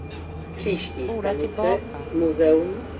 spola tillbaka